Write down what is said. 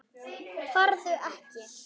Farðu ekki.